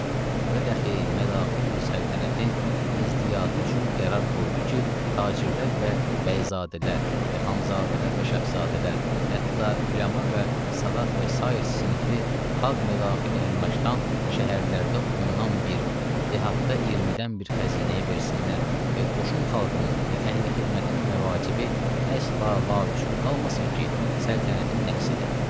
Və daxi mədaxil səltənətin izdiadı üçün qərar qoydu ki, tacirlər və bəyzadələr və xanzadələr və şəhzadələr, hətta üləma və Sadat və sair sinifi xalq mədaxil əmlakdan şəhərlərdə ondan bir, dehatda 20-dən bir xəzinəyə versinlər və qoşun xalqının və əhli-xidmətin məvacibi əsla lavüsul qalmasın ki, səltənətin nəqsidır.